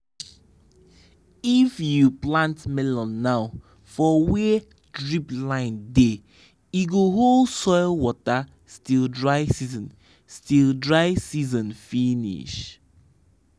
if you plant melon now for where drip line dey e go hold soil water till dry season till dry season finish.